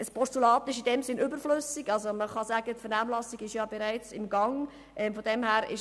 Ein Postulat ist in diesem Sinn überflüssig, da die Vernehmlassung bereits im Gang ist.